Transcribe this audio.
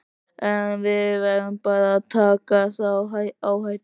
En við verðum bara að taka þá áhættu.